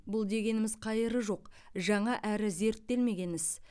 бұл дегеніміз қайыры жоқ жаңа әрі зерттелмеген іс